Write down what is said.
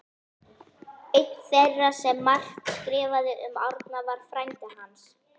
Einn þeirra sem margt skrifaði fyrir Árna var frændi hans